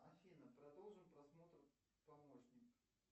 афина продолжим просмотр помощник